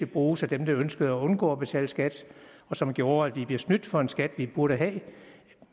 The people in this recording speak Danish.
bruges af dem der ønskede at undgå at betale skat som gjorde at vi blev snydt for en skat som vi burde have